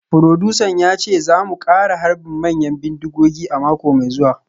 Furodusan ya ce za mu kara harbin manyan bindigogi a mako mai zuwa